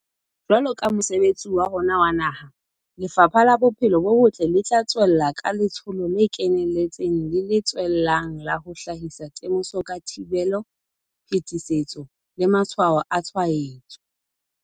Jwaloka mosebetsi wa rona wa naha, Lefapha la Bophelo bo Botle le tla tswella ka letsholo le keneletseng le le tswellang la ho hlahisa temoso ka thibelo, phetisetso le matshwao a tshwaetso.